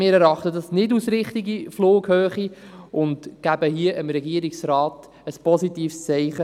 Wir erachten die Flughöhe nicht als richtig, und wir geben dem Regierungsrat ein positives Zeichen.